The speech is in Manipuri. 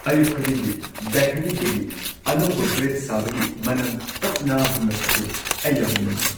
ꯑꯌꯨꯛ ꯈꯨꯗꯤꯡꯒꯤ ꯕꯦꯀꯔꯤꯗꯒꯤ ꯑꯅꯧꯕ ꯕ꯭ꯔꯦꯗ ꯁꯥꯕꯒꯤ ꯃꯅꯝ ꯇꯞꯅ ꯍꯨꯝꯂꯛꯄꯗꯨ ꯑꯩ ꯌꯥꯝꯅ ꯅꯨꯡꯉꯥꯢ ꯫